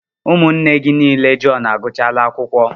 Ụmụnne gị niile Jọn agụchala akwụkwọ.